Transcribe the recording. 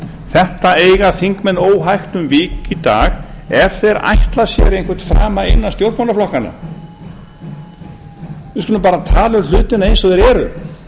þetta eiga þingmenn óhægt um vik í dag ef þeir ætla sér einhvern frama innan stjórnmálaflokkanna við skulum bara tala um hlutina eins og þeir eru